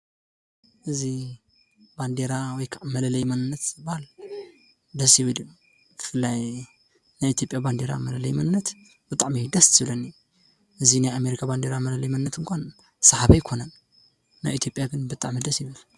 እዚ ባንዴራ ወይ ከዓ መለለዪ መንነት ዝበሃል ደስ ዝብል እዩ። ብፍላይ ናይ ኢትዮጽያ መለለዪ መንነት ብጣዕሚ እዩ ደስ ዝብለኒ። እዚ ናይ አሜርካ መለለዪ መንነት እንኳን ስሓቢ አይኮነን። ናይ ኢትዮጵያ ግን ብጣዕሚ እዩ ደስ ይብል።